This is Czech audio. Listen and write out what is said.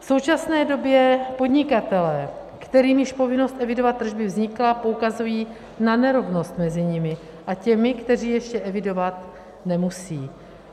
V současné době podnikatelé, kterým již povinnost evidovat tržby vznikla, poukazují na nerovnost mezi nimi a těmi, kteří ještě evidovat nemusí.